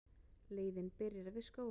Leiðin byrjar við Skógafoss.